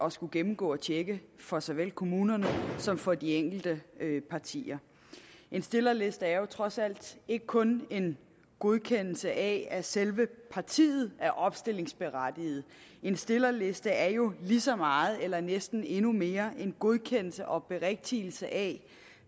at skulle gennemgå og tjekke for såvel kommunerne som for de enkelte partier en stillerliste er jo trods alt ikke kun en godkendelse af at selve partiet er opstillingsberettiget en stillerliste er jo lige så meget eller næsten endnu mere en godkendelse og berigtigelse af